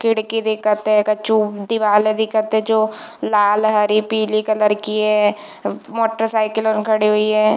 खिड़की दिखत है कछु दीवाल दिखत है जो लाल हरी पीली कलर की है मोटरसाइकिल उन खड़ी हुई है।